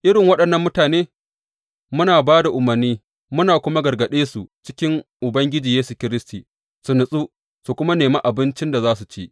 Irin waɗannan mutane muna ba da umarni muna kuma gargaɗe su cikin Ubangiji Yesu Kiristi su natsu su kuma nemi abincin da suke ci.